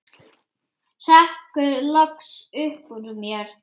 hrekkur loks upp úr mér.